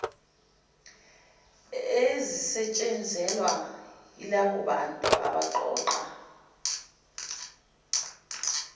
ezisetshenzelwa yilabobantu abaqoqa